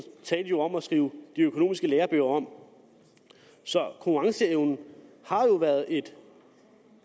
talte jo om at skrive de økonomiske lærebøger om så konkurrenceevnen har jo været et